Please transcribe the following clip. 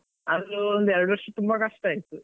ಆದ್ರೂ, ಒಂದು ಎರಡು ವರ್ಷ ತುಂಬಾ ಕಷ್ಟ ಆಯ್ತು.